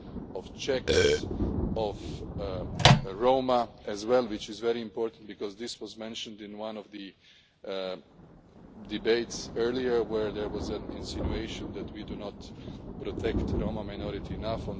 of the Czechs, and of the Roma as well, which is very important because this was mentioned in one of the debates earlier where there was an insinuation that we do not protect the Roma minority